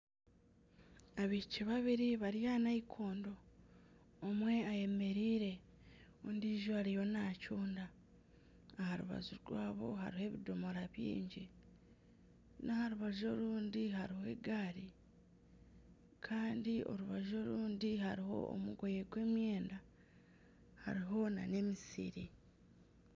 Abaishiki babiri bari aha nayikondo omwe ayemereire ondiijo ariyo naacunda aha rubaju rwabo hariho ebidoomora byingi n'aha rubaju orundi hariho egaari kandi orubaju orundi hariho omugoye gw'emyenda hariho na n'emisiri.